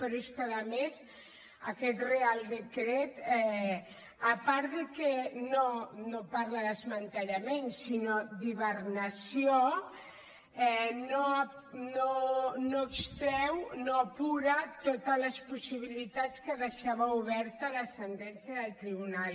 però és que a més aquest reial decret a part que no parla de desmantellament sinó d’hibernació no extreu no apura totes les possibilitats que deixava oberta la sentència del tribunal